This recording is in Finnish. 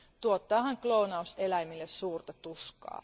Tuottaahan kloonaus eläimille suurta tuskaa.